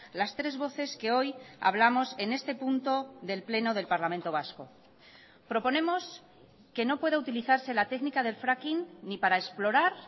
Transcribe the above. las tres voces que hoy hablamos en este punto del pleno del parlamento vasco proponemos que no pueda utilizarse la técnica del fracking ni para explorar